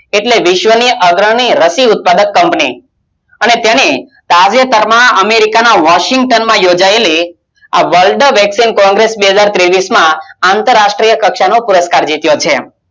એટલે વિશ્વની આગળ ની રાશિ ઉત્પાદન કંપની અને તેની કાર્યક્રમ અમેરિકા માં વોશિંટન માં યોજાયેલી આ World વેક્સિન બે હજાર તેવીસમાં રાષ્ટિય કક્ષા નો પુરુસ્કાર જીતિયો છે